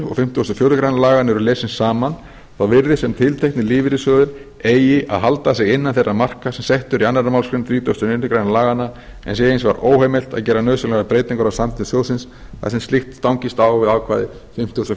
fimmtugasta og fjórðu grein laganna eru lesin saman þá virðist sem tilteknir lífeyrissjóðir eigi að halda sig innan þeirra marka sem sett eru í annarri málsgrein þrítugustu og níundu grein laganna en sé hins vegar óheimilt að gera nauðsynlegar breytingar á samþykktum sjóðsins þar sem slíkt stangist á við ákvæði fimmtugasta og fjórðu